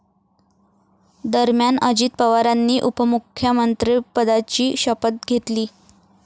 दरम्यान, अजित पवारांनी उपमुख्यमंत्रिपदाची शपथ घेतली.